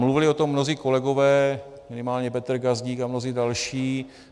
Mluvili o tom mnozí kolegové, minimálně Petr Gazdík a mnozí další.